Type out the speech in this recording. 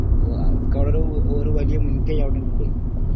അപ്പൊ അവർക്ക് അവിടെ ഒരു വലിയ മുൻകൈ അവിടെയുണ്ട് അത്രന്നെ